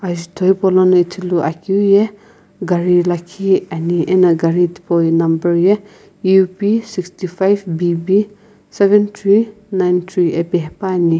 ajutho hipaulono ithuluakeu ye gari lakhi ani ena gari tipau number ye U_P six five B_B seven three nine three api hepuani.